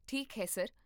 ਠੀਕ ਹੈ, ਸਰ